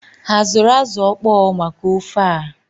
Ha azụrụ azụ ọkpọọ maka ofe ah?